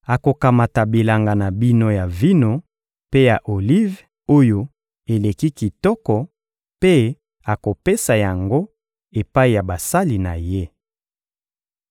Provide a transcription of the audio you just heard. Akokamata bilanga na bino ya vino mpe ya olive oyo eleki kitoko, mpe akopesa yango epai ya basali na ye.